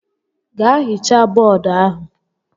Gaa hichaa bọọdu ahụ!